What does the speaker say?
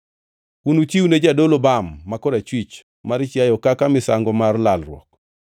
Unuchiwne jadolo bam ma korachwich mar chiayo kaka misango mar lalruok.